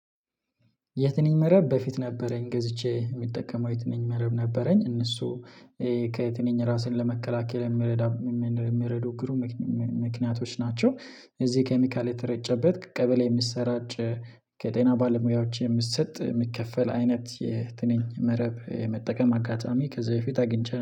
የትንኝ መረብ በፊት ነበረኝ ገዝቼ የምጠቀመው የትንኝ መረብ ነበረኝ። እነሱ ከትንኝ ራስን ለመከላከል የሚረዳ የሚረዱ ግሩም ምክንያቶች ናቸው። እዚህ ኬሚካል የተረጨበት ቀበሌ የሚሰራጭ። ከጤና ባለሙያዎች የሚሰጥ የሚከፈል አይነት የትንኝ መረብ የመጠቀም አጋጣሚ ከዚህ በፊት አግኝቼ